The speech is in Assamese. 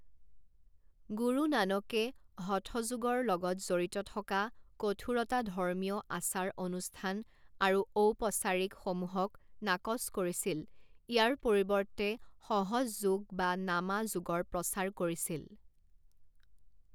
গুৰু নানকে হঠ যোগৰ লগত জড়িত থকা কঠোৰতা ধৰ্মীয় আচাৰ অনুষ্ঠান আৰু ঔপচাৰিক সমূহক নাকচ কৰিছিল ইয়াৰ পৰিৱৰ্তে সহজ যোগ বা নামা যোগৰ প্ৰচাৰ কৰিছিল।